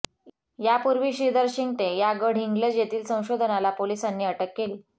यापूर्वी श्रीधर शिंगटे या गडहिंग्लज येथील संशोधनाला पोलिसांनी अटक केली आहे